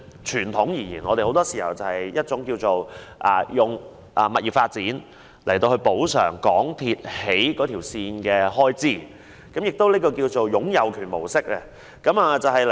傳統而言，我們很多時候是以物業發展來補償港鐵公司興建鐵路的開支，這亦稱為"擁有權模式"。